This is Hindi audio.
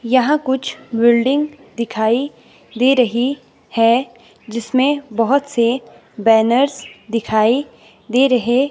यहां कुछ बिल्डिंग दिखाई दे रही है जिसमें बहुत से बैनर्स दिखाई दे रहे--